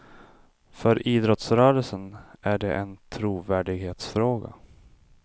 För idrottsrörelsen är det en trovärdighetsfråga.